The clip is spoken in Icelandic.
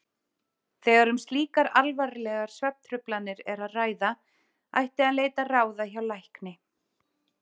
Þegar um slíkar alvarlegar svefntruflanir er að ræða ætti að leita ráða hjá lækni.